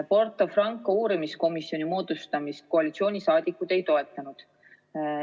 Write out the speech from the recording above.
Porto Franco uurimiskomisjoni moodustamist koalitsiooniliikmed ei toetanud.